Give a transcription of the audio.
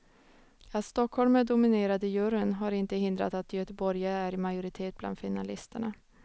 Att stockholmare dominerade juryn har inte hindrat att göteborgare är i majoritet bland finalisterna.